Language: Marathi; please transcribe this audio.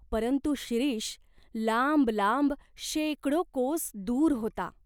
परंतु शिरीष लांब लांब शेकडो कोस दूर होता.